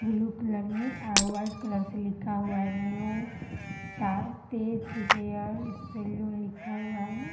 Blue colour में और white colour से लिखा हुआ है न्यू तार तेज हेयर सैलून लिखा है।